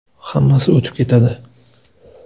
Hammasi o‘tib ketadi.